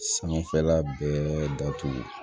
Sanfɛla bɛɛ datugu